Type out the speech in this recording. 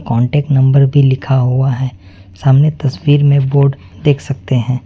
Contact number भी लिखा हुआ है सामने तस्वीर में बोर्ड देख सकते हैं।